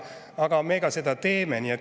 Aga me ka seda teeme.